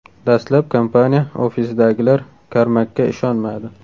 Dastlab kompaniya ofisidagilar Karmakga ishonmadi.